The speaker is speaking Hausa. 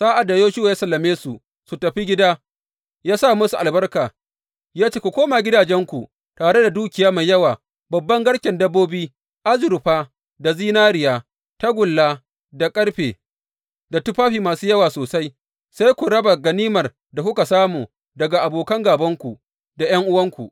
Sa’ad da Yoshuwa ya sallame su su tafi gida, ya sa musu albarka, ya ce, Ku koma gidajenku tare da dukiya mai yawa, babban garken dabbobi, azurfa da zinariya, tagulla da ƙarfe, da tufafi masu yawa sosai, sai ku raba ganimar da kuka samu daga abokan gābanku, da ’yan’uwanku.